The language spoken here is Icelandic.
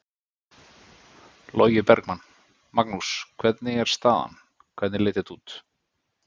Logi Bergmann: Magnús hvernig er staðan, hvernig leit þetta út?